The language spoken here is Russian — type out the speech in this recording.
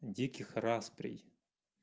диких распрей